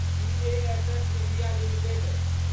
BASF India limited